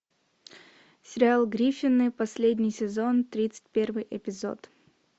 сериал гриффины последний сезон тридцать первый эпизод